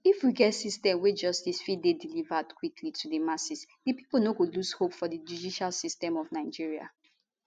if we get system wey justice fit dey delivered quickly to di masses di pipo no go lose hope for di judicial system of nigeria